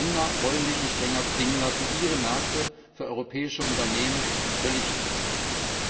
Die Länder wollen sich nicht länger zwingen lassen, ihre Märkte für europäische Unternehmen völlig zu öffnen.